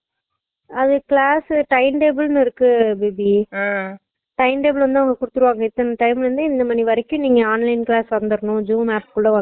அது class உ timetable னு இருக்கு தீபி அஹ் timetable வந்து அவுங்க குடுத்துருவாங்க இத்தன time ல இருந்து இந்த மணி வரைக்கும் நீங்க online class வந்தறனும் zoomapp குல வந்தறனும்